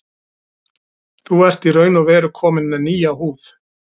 Þú ert í raun og veru kominn með nýja húð.